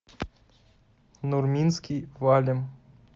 нурминский валим